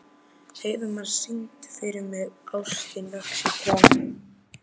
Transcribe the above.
Heiðmar, syngdu fyrir mig „Ástin vex á trjánum“.